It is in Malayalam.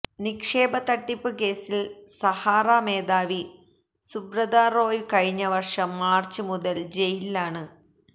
നിക്ഷേപതട്ടിപ്പ് കേസില് സഹാറ മേധാവി സുബ്രതാ റോയ് കഴിഞ്ഞ വര്ഷം മാര്ച്ച് മുതല് ജയിലിലാണ്